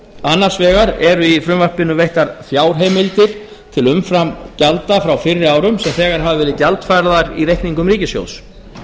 annars vegar eru í frumvarpinu veittar fjárheimildir til umframgjalda frá fyrri árum sem þegar hafa verið gjaldfærðar í reikningum ríkissjóðs